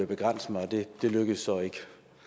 begrænse mig og det lykkedes så ikke